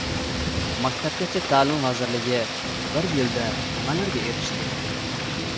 Maktabgacha ta’lim vazirligi bir yilda nimalarga erishdi?.